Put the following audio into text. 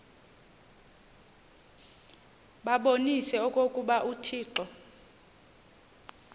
babonise okokuba uthixo